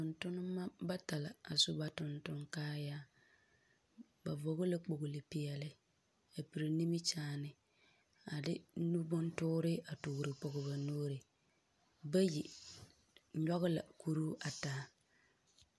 Tontonema bata la a su ba tontoŋkaayaa. Ba vɔgɔ la kpogle peɛle a pere nimikyaane, a de nu bontoore a toore pɔgɔ ba nuuri. Bayi nyɔgɔ la kuruu a taa.